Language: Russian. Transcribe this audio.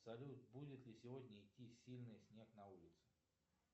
салют будет ли сегодня идти сильный снег на улице